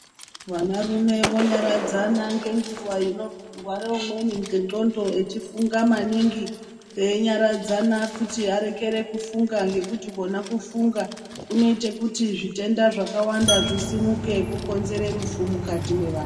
Vanarume vonyaradzana ngenguwa inorware umweni ngendxondo echifunga maningi, einyaradzana kuti arekere kufunga ngekuti kona kufunga kunoite kuti zvitenda zvawakanda zvisimuke kukonzere rufu mukati mwevanhu.